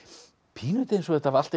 pínulítið eins og þetta hafi allt